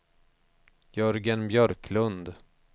Jörgen Björklund